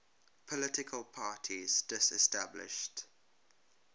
political parties disestablished